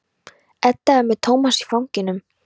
Edda er með Tómas í fanginu.